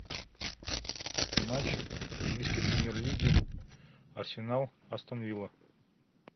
матч английской премьер лиги арсенал астон вилла